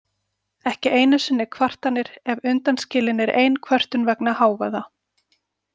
Ekki einu sinni kvartanir ef undan skilin er ein kvörtun vegna hávaða.